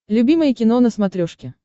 любимое кино на смотрешке